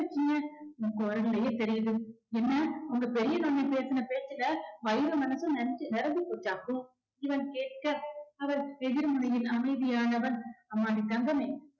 correct ஆ கண்டுபிடிச்சீங்க உன் குரல்லையே தெரியுது என்ன உங்க பெரிய மாமி பேசுன பேச்சுல வயிறும் மனசும் நிறைஞ்சு~ நிரம்பி போச்சாக்கும். இவன் கேட்க அவள் எதிர்முனையில் அமைதியானவள் அம்மாடி தங்கமே